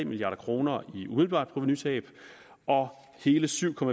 milliard kroner i umiddelbart provenutab og hele syv